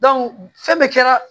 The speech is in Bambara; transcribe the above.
fɛn bɛɛ kɛra